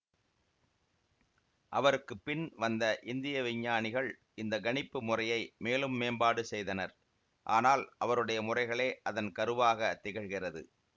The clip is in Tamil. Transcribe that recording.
அவருக்கு பின் வந்த இந்திய விஞ்ஞானிகள் இந்த கணிப்பு முறையை மேலும் மேம்பாடு செய்தனர் ஆனால் அவருடைய முறைகளே அதன் கருவாக திகழ்கிறது